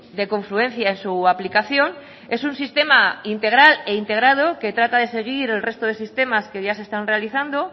de confluencia en su aplicación es un sistema integral e integrado que trata de seguir al resto de sistemas que ya se estaban realizando